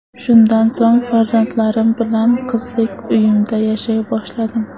Shundan so‘ng farzandlarim bilan qizlik uyimda yashay boshladim.